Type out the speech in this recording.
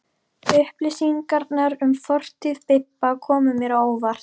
Upplýsingarnar um fortíð Bibba komu mér á óvart.